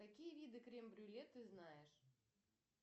какие виды крем брюле ты знаешь